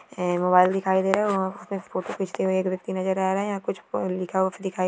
यह मोबाइल दिखाई दे रहा है। वहां पे फोटो खीचते हुए एक व्यक्ति नजर आ रहा है। यहां कुछ लिखा हुआ भी दिखाई --